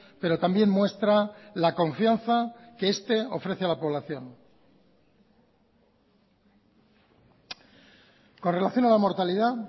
pero también muestra la confianza que este ofrece a la población con relación a la mortalidad